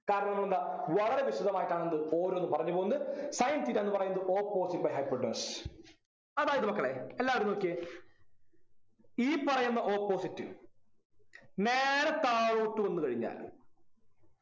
കരണമെന്താ വളരെ വിശദമായിട്ടാണ് എന്ത് ഓരോന്നും പറഞ്ഞു പോന്നത് sin theta ന്നു പറയുന്നത് opposite by hypotenuse അതായത് മക്കളെ എല്ലാവരും നോക്കിയേ ഈ പറയുന്ന opposite നേരെ താഴോട്ട് വന്നു കഴിഞ്ഞാൽ